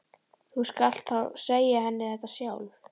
Þú skalt þá segja henni þetta sjálf!